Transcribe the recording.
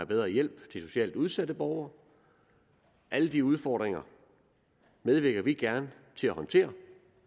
bedre hjælp til socialt udsatte borgere alle de udfordringer medvirker vi gerne til at håndtere